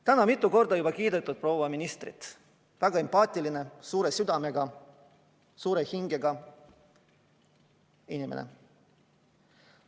Täna on mitu korda kiidetud proua ministrit: väga empaatiline, suure südamega, suure hingega inimene.